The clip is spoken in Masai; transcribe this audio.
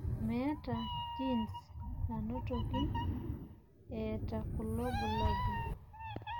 meeta genes nanotoki eeta kulo bulabol.